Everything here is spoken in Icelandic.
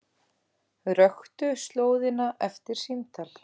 Röktu slóðina eftir símtal